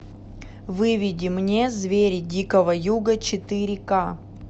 выведи мне звери дикого юга четыре к